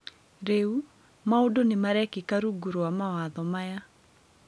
Rĩu, maũndũ nĩ marekika rungu rwa mawatho maya.